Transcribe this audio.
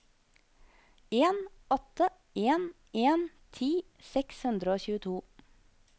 en åtte en en ti seks hundre og tjueto